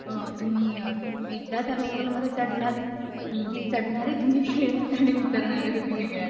अ.. तुम्ही एकादा त्या लोकलमध्ये चढलात चढणारे तुम्ही वेगळे आणि उतरणारे तुम्ही वेगळे असतात. हम्म